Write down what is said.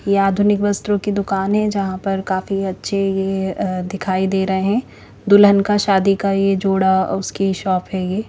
ये आधुनिक वस्त्रो की दुकान है जहाँ पर काफी अच्छे अ दिखाई दे रहे हैं दुल्हन का शादी का ये जोड़ा उसकी शॉप है ये।